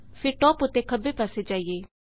ਫੇਰ ਟਾਪ ਉੱਤੇ ਖੱਬੇ ਪਾਸੇ ਜਾਈਏ